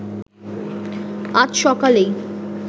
আজ সকালেই